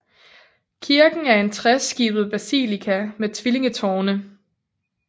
Kirken er en treskibet basilika med tvillingetårne